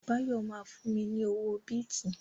Báyọ̀ ma fún mi ní owó bìtì